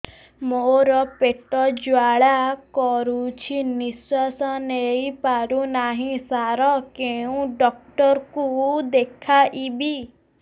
ମୋର ପେଟ ଜ୍ୱାଳା କରୁଛି ନିଶ୍ୱାସ ନେଇ ପାରୁନାହିଁ ସାର କେଉଁ ଡକ୍ଟର କୁ ଦେଖାଇବି